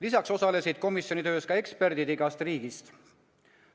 Lisaks osalesid komisjoni töös ka eksperdid igast riigist.